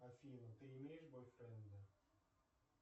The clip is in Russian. афина ты имеешь бойфренда